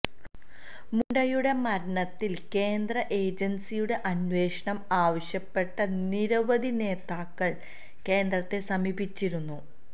മുണ്ടെയുടെ മരണത്തില് കേന്ദ്ര ഏജന്സിയുടെ അന്വേഷണം ആവശ്യപ്പെട്ട നിരവധി നേതാക്കള് കേന്ദ്രത്തെ സമീപിച്ചിരുന്നു